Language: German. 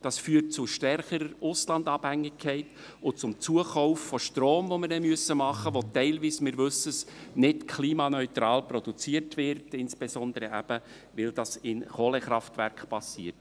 Dies führt zu einer stärkeren Auslandabhängigkeit und zum Zukauf von Strom, den wir dann tätigen müssen, der teilweise – wir wissen dies – nicht klimaneutral produziert wird, insbesondere, weil dies in Kohlekraftwerken geschieht.